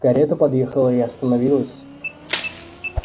карета подъехала и остановилась